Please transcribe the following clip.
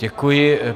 Děkuji.